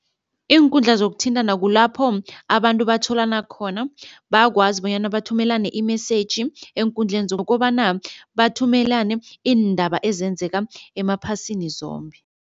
Iinkundla zokuthintana kulapho abantu batholana khona, bayakwazi bonyana bathumelane i-message eenkundleni zokobana bathumelane iindaba ezenzeka emaphasini zombe.